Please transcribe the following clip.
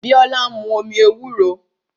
Biola ń mu omi ewúro